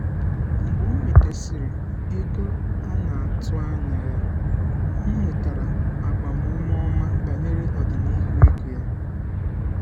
mgbe ọ nwetasiri ego a na-atụ anya ya ọ nwetara agbamume ọma banyere ọdịnihu ego ya.